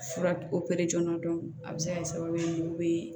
Fura opere jɔn a bɛ se ka kɛ sababu ye